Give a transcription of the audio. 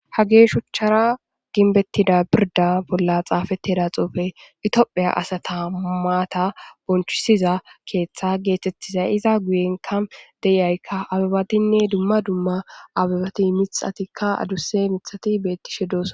Hagey shuchara gimbetida birda bolla xafetida xufey Ethiopia asata maata bonchisiza keetha getetiza iza guyenka de'iyayka abebatinne dumma dumma abebat mithatika aduse mithat betishe dosona.